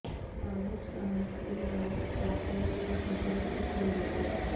معروف صحافی Rauf Tahir heart attack سے چل بسے